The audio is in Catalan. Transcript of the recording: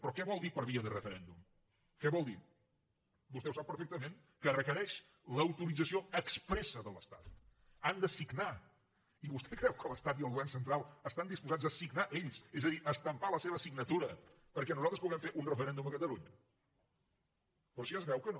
però que vol dir per via de referèndum què vol dir vostè ho sap perfectament que requereix l’autorització expressacreu que l’estat i el govern central estan disposats a signar ells és a dir a estampar la seva signatura perquè nosaltres puguem fer un referèndum a catalunya però si ja es veu que no